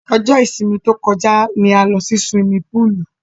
Ọjọ́ isinmi tó kọjá ni a lọ sí siwimi púùlù.